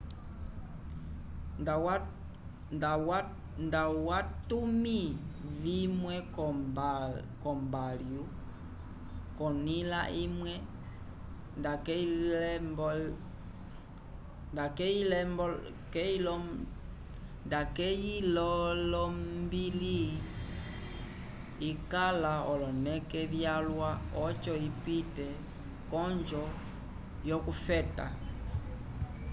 nda watumi vimwe ko mbalhu konila imwe nda keyilelombili ikala oloneke vyalwa oco ipite konjo yo kufeta